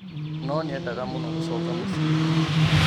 No nĩendaga mũno gũcoka mũciĩ.